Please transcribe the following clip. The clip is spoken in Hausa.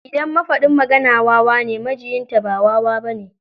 Idan mafaɗin magana wawa ne, majiyinta ba wawa ba ne.